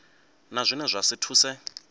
na zwine zwa si thuse